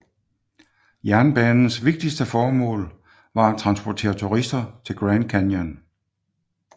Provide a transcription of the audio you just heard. Jernbanens vigtigste formål var at transportere turister til Grand Canyon